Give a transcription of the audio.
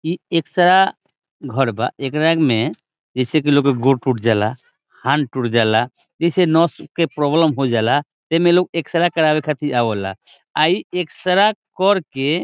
इ एक्सरा घर बा ऐकरा में जैसे की लोग के गोड़ टूट जाला हाथ टूट जाला जैसे नस के प्रॉब्लम हो जाला एमे लोग एक्सरा करावे खातिर आवेला आई एक्सरा कर के --